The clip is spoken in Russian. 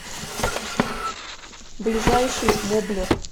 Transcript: ближайший моблер